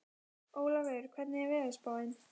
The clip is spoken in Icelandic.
Ólafur, hvernig er veðurspáin?